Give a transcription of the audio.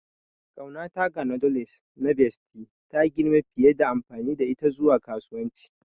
Ƙaunata ga noodles na Bestie ta girma fiye da amfani da ita zuwa kasuwanci.